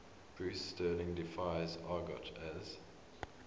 bruce sterling defines argot as